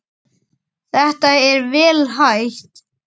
Þetta er vel hægt.